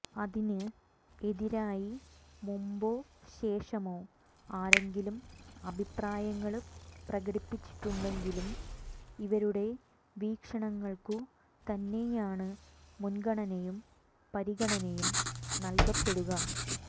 അതിന് എതിരായി മുമ്പോ ശേഷമോ ആരെങ്കിലും അഭിപ്രായങ്ങള് പ്രകടിപ്പിച്ചിട്ടുണ്ടെങ്കിലും ഇവരുടെ വീക്ഷണങ്ങള്ക്കു തന്നെയാണ് മുന്ഗണനയും പരിഗണനയും നല്കപ്പെടുക